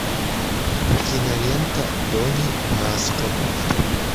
кинолента дони браско